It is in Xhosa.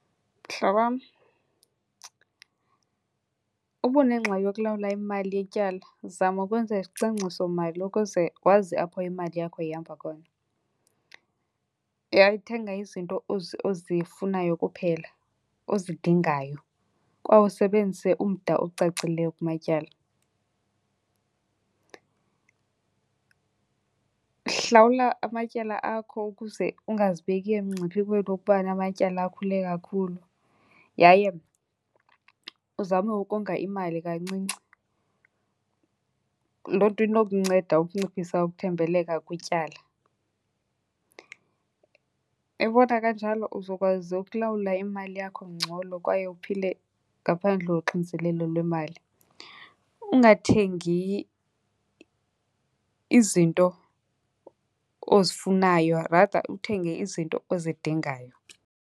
Mhlobam, uba unengxaki yokulawula imali yetyala zama ukwenza isicwangcisomali ukuze wazi apho imali yakho ihamba khona. Uyaye uthenga izinto ozifunayo kuphela ozidingayo kwaye usebenzise umda ocacileyo kumatyala. Hlawula amatyala akho ukuze ungazibeki emngciphekweni wokuba namatyala akhule kakhulu yaye uzame ukonga imali kancinci. Loo nto inokunceda ukunciphisa ukuthembeleka kwityala. Uyabona kanjalo uzokwazi ukulawula imali yakho ngcono kwaye uphile ngaphandle koxinzelelo lwemali. Ungathengi izinto ozifunayo rather uthenge izinto ozidingayo.